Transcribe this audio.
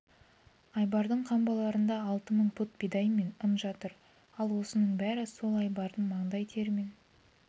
айбардың қамбаларында алты мың пұт бидай мен ұн жатыр ал осының бәрі сол айбардың маңдай терімен